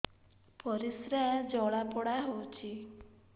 ପରିସ୍ରା ଜଳାପୋଡା ହଉଛି